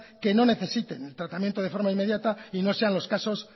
que no necesiten el tratamiento de forma inmediata y no sean los casos